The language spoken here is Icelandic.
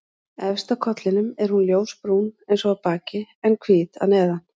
Efst á kollinum er hún ljósbrún eins og á baki en hvít að neðan.